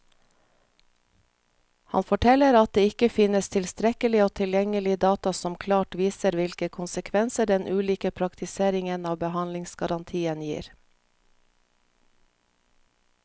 Han forteller at det ikke finnes tilstrekkelig og tilgjengelig data som klart viser hvilke konsekvenser den ulike praktiseringen av behandlingsgarantien gir.